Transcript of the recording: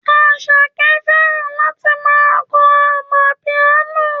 Àṣàkẹ́ fẹ́ràn láti ma kọ amapiano